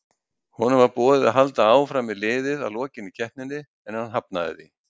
Honum var boðið að halda áfram með liðið að lokinni keppninni en hann hafnaði því.